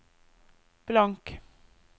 blank